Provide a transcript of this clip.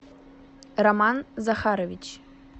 роман захарович